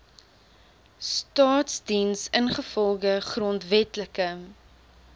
staasdiens ingevolge grondwetlike